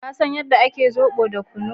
ka san yadda ake zobo da kunu